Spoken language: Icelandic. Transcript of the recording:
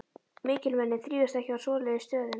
Mikilmenni þrífast ekki á svoleiðis stöðum.